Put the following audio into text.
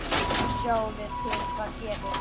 Svo sjáum við til hvað gerist.